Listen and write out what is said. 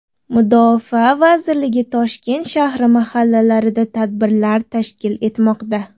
Mudofaa vazirligi Toshkent shahri mahallalarida tadbirlar tashkil etmoqda.